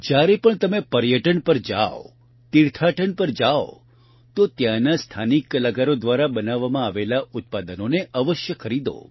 જયારે પણ તમે પર્યટન પર જાવ તીર્થાટન પર જાવ તો ત્યાંના સ્થાનિક કલાકારો દ્વારા બનાવવામાં આવેલાં ઉત્પાદનોને અવશ્ય ખરીદો